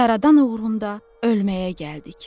Yaradan uğrunda ölməyə gəldik.